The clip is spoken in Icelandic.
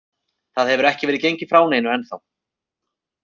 Það hefur ekki verið gengið frá neinu ennþá.